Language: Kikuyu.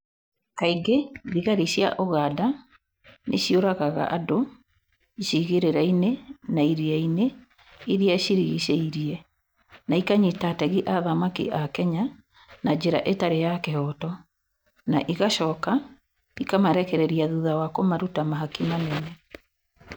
Kaingĩ thigari cia ũganda nĩ ciũragaga andũ icigĩrĩra-inĩ na iria-inĩ iria ciĩrigicĩirie na ikanyita ategi a thamaki a Kenya na njĩra itarĩ ya kĩhooto, na igacoka ikaamarekereria thutha wa kũmaruta mahaki manene.